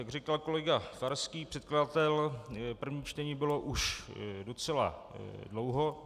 Jak říkal kolega Farský, předkladatel, první čtení bylo už docela dlouho.